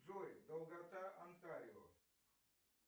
джой долгота антарио